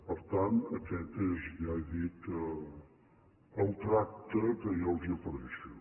per tant aquest és ja ho he dit el tracte que jo els ofereixo